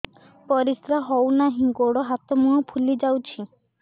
ପରିସ୍ରା ହଉ ନାହିଁ ଗୋଡ଼ ହାତ ମୁହଁ ଫୁଲି ଯାଉଛି